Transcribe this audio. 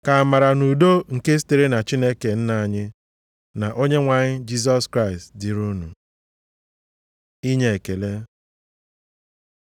Ka amara na udo nke sitere na Chineke Nna anyị, na Onyenwe anyị Jisọs Kraịst dịrị unu. Inye Ekele